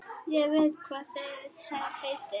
Ég veit hvað það heitir